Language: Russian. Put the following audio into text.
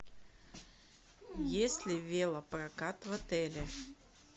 есть ли велопрокат в отеле